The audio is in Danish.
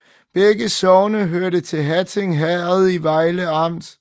Begge sogne hørte til Hatting Herred i Vejle Amt